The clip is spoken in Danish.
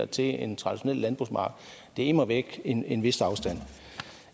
til en traditionel landbrugsmark det er immer væk en en vis afstand